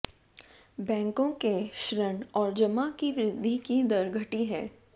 बैंकों के ऋण और जमा की वृद्धि की दर घटी है